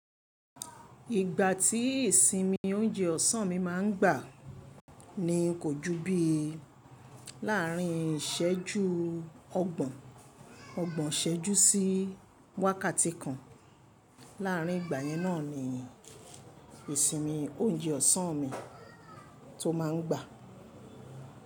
Ìgbà tí ìsinmi oúnjẹ ọ̀sán mi máa ń gbà ni kò ju bí i láàrin ìsẹ́jú ọgbọ̀n, ọgbọ̀n ìsẹ́jú sí wákàtí kan. Láàrin ìgbà yẹn náà ni ìsinmi oúnjẹ ọ̀sán mi tó máa ń gbà.